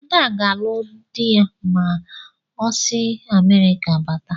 Ada ga-alụ dị ma o si Amerịka bata.